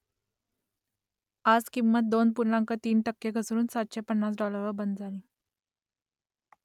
आज किंमत दोन पूर्णांक तीन टक्के घसरून सातशे पन्नास डॉलरवर बंद झाली